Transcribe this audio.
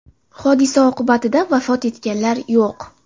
Hodisa oqibatida vafot etganlar yo‘q.